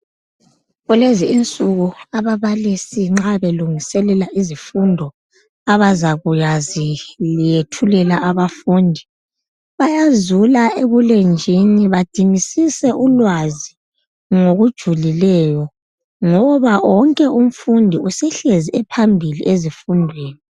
Kulezi insuku ababalisi nxa belungiselela izifundo abazakuyaziyethulela abafundi bayazula ebulenjini badingisise ulwazi ngokujulileyo ngoba wonke umfundi usehlezi ephambili ezifundweni.